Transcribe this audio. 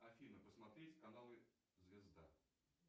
афина посмотреть каналы звезда